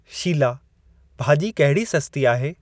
शीलाः भाजी॒ कहिड़ी सस्ती आहे?